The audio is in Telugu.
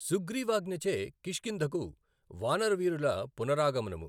సుగ్రీవాజ్ఞ చే కిష్కింధకు వానర వీరుల పునరాగమనము